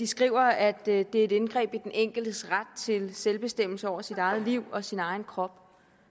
skriver at det er et indgreb i den enkeltes ret til selvbestemmelse over sit eget liv og sin egen krop